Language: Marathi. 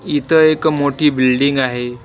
इथं एक मोठी बिल्डिंग आहे.